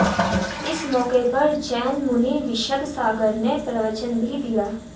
इस मौक़े पर जैन मुनि विशद सागर ने प्रवचन भी दिया